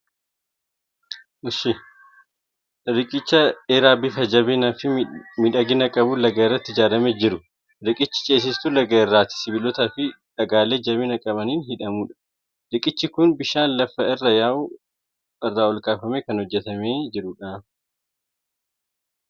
Riqicha dheeraa bifa jabinaa fi miidhagina qabuun laga irratti ijaaramee jiru. Riqichi ceesistuu laga irratti sibiilotaa fi dhagaalee jabina qabaniin hidhamudha. Riqichi kun bishaan lafa irra yaa'u irraa olkaafamee kan hojjetamee jirudha.